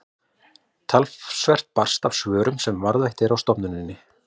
talsvert barst af svörum sem varðveitt eru á stofnuninni